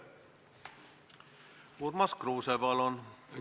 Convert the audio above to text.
Urmas Kruuse, palun!